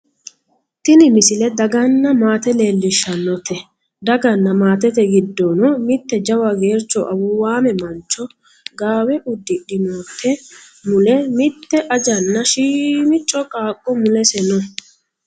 tini misile daganna maate leellishshannote daganna maatete giddono mitte jawa geercho awuuwaame mancho gaawe uddidhinote mule mitte ajanna shiimicco qaaqqo mulese no